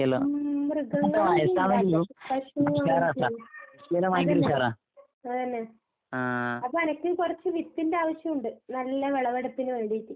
ഉം മൃഗങ്ങളാണ് ഇല്ലാത്തത്. അതന്നെ. അതന്നെ. അപ്പെനക്കും കൊറച്ച് വിത്തിന്റെ ആവശ്യോണ്ട്. നല്ല വെളവെടുപ്പിന് വേണ്ടീട്ട്.